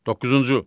Doqquzuncu.